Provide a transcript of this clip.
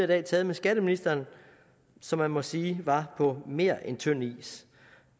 dag taget med skatteministeren som man må sige var på mere end tynd is